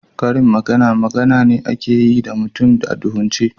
Karin magana, magana ne da ake yi ma mutum a duhunce.